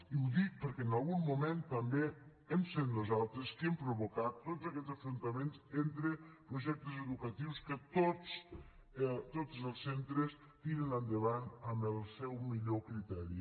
i ho dic perquè en algun moment també hem set nosaltres qui hem provocat tots aquests enfrontaments entre projectes educatius que tots els centres tiren endavant amb el seu millor criteri